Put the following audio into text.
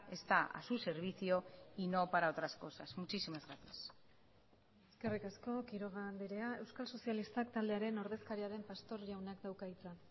está a su servicio y no para otras cosas muchísimas gracias eskerrik asko quiroga andrea euskal sozialistak taldearen ordezkaria den pastor jaunak dauka hitza